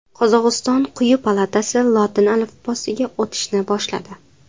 Qozog‘iston quyi palatasi lotin alifbosiga o‘tishni boshladi.